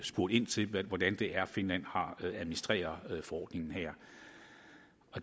spurgt ind til hvordan det er finland administrerer forordningen her